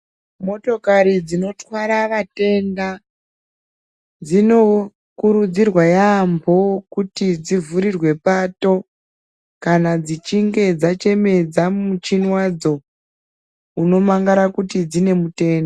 Motokari dzinorwara vatenda dzinokurudzirwa yambo kuti dzivhurirwe Pato kana dzichinge dzachemedza muchini wadzo unomangara kuti dzine mutenda.